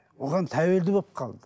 оған тәуелді болып қалды